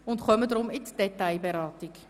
Deshalb kommen wir nun zur Detailberatung.